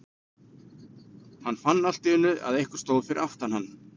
Hann fann allt í einu að einhver stóð fyrir aftan hann.